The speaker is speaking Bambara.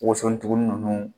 Woso dugun ninnu